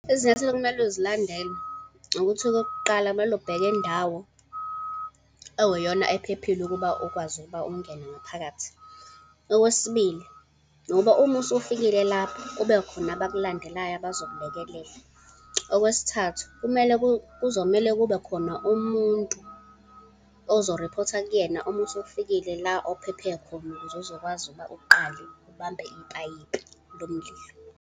Izinyathelo okumele uzilandele ukuthi okokuqala, kumele ubheke indawo ekuyiyona ephephile ukuba ukwazi ukuba ungene ngaphakathi. Okwesibili, ngoba uma usufikile lapho, kumele kube khona abakulandelayo, abazokulekelela. Okwesithathu, kumele, kuzomele kube khona umuntu ozo-report-a kuyena uma usufikile la ophephe khona ukuze uzokwazi ukuba uqale ubambe ipayipi lomlilo.